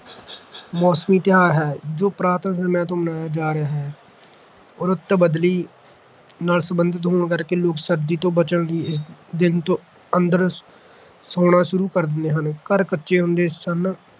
ਮੌਸਮੀ ਤਿਉਹਾਰ ਹੈ ਜੋ ਪੁਰਾਤਨ ਸਮੇਂ ਤੋਂ ਮਨਾਇਆ ਜਾ ਰਿਹਾ ਰੁੱਤ ਬਦਲੀ ਨਾਲ ਸੰਬੰਧਿਤ ਹੋਣ ਕਰਕੇ ਲੋਕ ਸਰਦੀ ਤੋਂ ਬਚਣ ਲਈ ਇਸ ਦਿਨ ਤੋਂ ਅੰਦਰ ਸੌਂਣਾ ਸ਼ੁਰੂ ਕਰਦੇ ਹਨ ਘਰ ਕੱਚੇ ਹੁੰਦੇ ਸਨ